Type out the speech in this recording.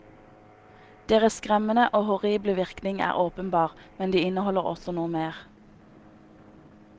Deres skremmende og horrible virkning er åpenbar, men de inneholder også noe mer.